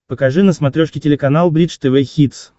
покажи на смотрешке телеканал бридж тв хитс